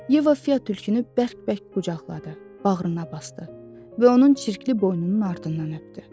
Yeva Fiya tülkünü bərk-bərk qucaqladı, bağrına basdı və onun çirkli boynunun ardından öpdü.